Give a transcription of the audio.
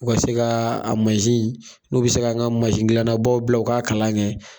U ka se ka a in , n'u be se ka an ka gilannabaw bila u ka kalan kɛ.